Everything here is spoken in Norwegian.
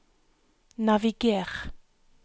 naviger